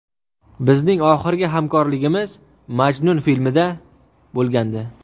Bizning oxirgi hamkorligimiz ‘Majnun’ filmida bo‘lgandi.